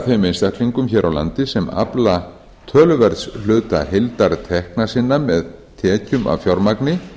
þeim einstaklingum hér á landi sem afla töluverðs hluta heildartekna sinna með tekjum af fjármagni